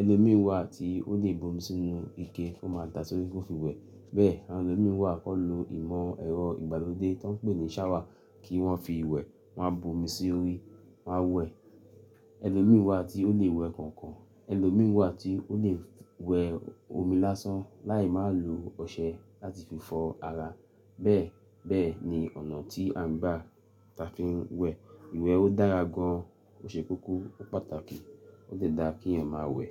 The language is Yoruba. Ẹlòmírán wà tí ó lè bomi sínú ike, ó máa dà sórí, ó fi wẹ̀. Bẹ́ẹ̀ àwọn ẹlòmíràn wà kan lo ìmọ̀ ẹ̀rọ ìgbàlódé tí wọ́n ń pè ní shower kí wọ́n fi wẹ̀. Wọ́n á bomi sórí, wọ́n á wẹ̀. Ẹlòmii wà tí ó lè wẹ̀ kànkàn. Ẹlòmii wà tí ó lè wẹ̀ omi lásán láì má lo ọṣẹ láti fi fọ ara. Bẹ́ẹ̀, bẹ́ẹ̀ ni ọ̀nà tí a ń gbá tà fi ń wẹ̀. Ìwẹ̀ ó dára gan, ó ṣe kókó, ó pàtàkì. Ó tẹ̀ dáa kí èèyàn máa wẹ̀.